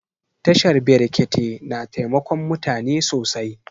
Tashar brekete na taimakon mutane sosai